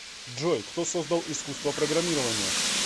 джой кто создал искусство программирования